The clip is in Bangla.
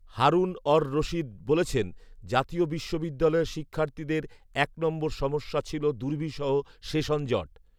হারুন অর রশিদ বলেছেন, জাতীয় বিশ্ববিদ্যালয়ের শিক্ষার্থীদের এক নম্বর সমস্যা ছিল দুর্বিষহ সেশন জট